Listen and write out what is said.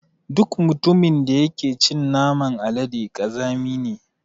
Duk mutumin da yake cin naman alade ƙazami ne.